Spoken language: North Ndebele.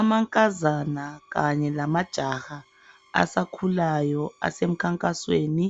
Amankazana kanye lamajaha asakhulayo asemkhankasweni.